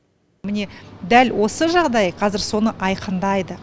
міне дәл осы жағдай қазір соны айқындайды